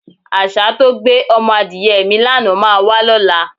Às̩á tó gbé o̩mo̩ adìye̩ mi lánàá máa wá ló̩la.